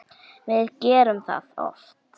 Við gerum það oft.